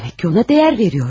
Demək ki, ona dəyər verir.